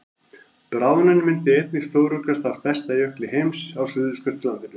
bráðnun myndi einnig stóraukast á stærsta jökli heims á suðurskautslandinu